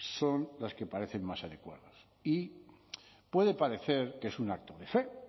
son las que parecen más adecuadas y puede parecer que es un acto de fe